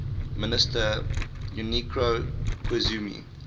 minister junichiro koizumi